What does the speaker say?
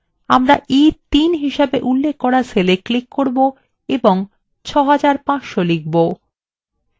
আমরা e3 হিসেবে উল্লেখ করা cellwe click করব এবং 6500 লিখব